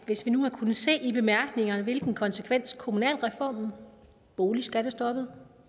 hvis vi nu havde kunnet se i bemærkningerne hvilken konsekvens kommunalreformen boligskattestoppet